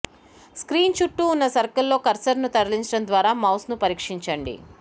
screen చుట్టూ ఉన్న సర్కిల్ల్లో కర్సరును తరలించడం ద్వారా మౌస్ను పరీక్షించండి